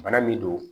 Bana min don